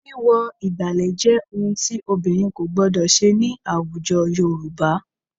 Wíwọ ìgbàlẹ̀ jẹ́ ohun tí obìnrin kò gbọdọ̀ ṣe ní àwùjọ Yorùbá